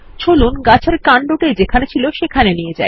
চলুন গাছের কান্ডটি যেখানে ছিল সেখানেই নিয়ে যাই